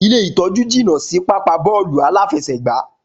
Ilé ìtọ́jú jìnà si pápáa bóòlù aláfesègbá